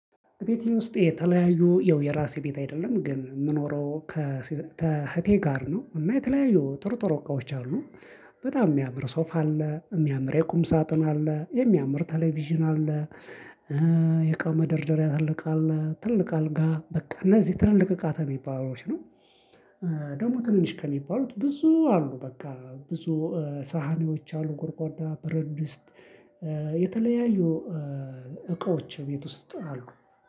ቤት ውስጥ የተለያዩ የራሴ ቤት አይደለም። ግን የምኖረው ከእህቴ ጋር ነው። እና የተለያዩ ጥርጥር እቃዎች አሉ። በጣም የሚያምር ሶፍ አለ። የሚያምር የቁም ሳጥን አለ። የሚያምር ቴሌቪዥን አለ። የቃው መደርደሪያ ትልቅ አለ። ትልቅ አልጋ በቃ እነዚህ ትላልቅ እቃ ከሚባለው ነው። ደግሞ ትንሽ ከሚባሉት ብዙ አሉ። በቃ ብዙ ሳህኒዎች አሉ ጉርጓዳ በረትድስት የተለያዩ እቃዎች ቤት ውስጥ አሉ።